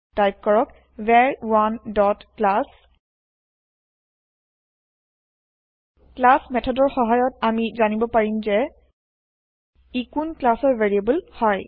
type কৰক ভাৰ1 dot class class মেঠদৰ সহায়ত আমি জানিব পাৰিম যে ই কোন ক্লাছৰ ভেৰিয়েব্ল হয়